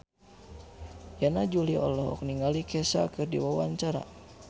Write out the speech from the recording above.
Yana Julio olohok ningali Kesha keur diwawancara